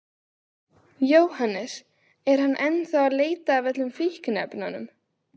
Jóhannes: Er hann þá að leita að öllum fíkniefnum?